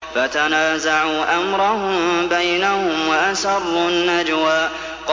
فَتَنَازَعُوا أَمْرَهُم بَيْنَهُمْ وَأَسَرُّوا النَّجْوَىٰ